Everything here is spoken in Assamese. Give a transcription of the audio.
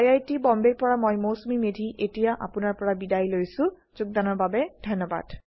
আই আই টী বম্বে ৰ পৰা মই মৌচুমী মেধী এতিয়া আপুনাৰ পৰা বিদায় লৈছো যোগদানৰ বাবে ধন্যবাদ